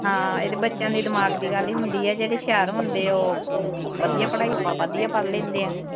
ਹਾਂ ਇਹ ਤਾਂ ਬੱਚਿਆਂ ਦੇ ਦਿਮਾਗ ਦੀ ਗੱਲ ਈ ਹੁੰਦੀ ਆ ਜਿਹੜੇ ਹੁਸ਼ਿਆਰ ਹੁੰਦੇ ਆ ਉਹ ਵਧੀਆ ਪੜ੍ਹਾਈ ਵਧੀਆ ਪੜ੍ਹ ਲੇਂਦੇ ਆ।